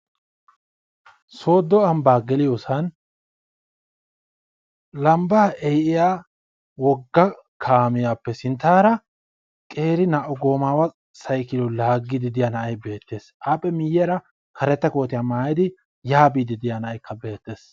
Sooddo ambbaa geliyosan lambbaa ehiya wogga kaamiyappe sinttaara qeeri naa7u goomaawa sayikiliyo laaggiiddi de7iya na7ay beettes appe miyyiyaara karetta kootiya maayidi yaa biiddi de7iya na7ayikka beettes.